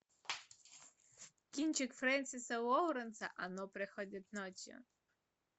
кинчик френсиса лоуренса оно приходит ночью